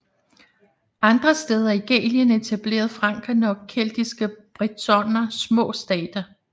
Andre steder i Gallien etablerede frankerne og keltiske bretoner små stater